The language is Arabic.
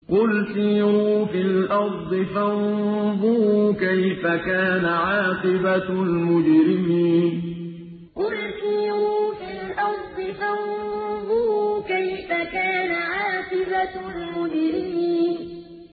قُلْ سِيرُوا فِي الْأَرْضِ فَانظُرُوا كَيْفَ كَانَ عَاقِبَةُ الْمُجْرِمِينَ قُلْ سِيرُوا فِي الْأَرْضِ فَانظُرُوا كَيْفَ كَانَ عَاقِبَةُ الْمُجْرِمِينَ